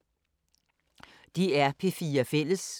DR P4 Fælles